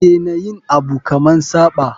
Dena yin Abu kaman Saba.